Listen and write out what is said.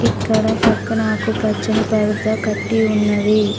ఇక్కడ పక్కన ఆకుపచ్చని పరదా కట్టి ఉన్నది.